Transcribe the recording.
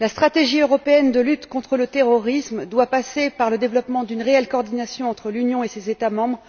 La stratégie européenne de lutte contre le terrorisme doit passer par le développement d'une réelle coordination de la cybersécurité entre l'Union et ses États membres,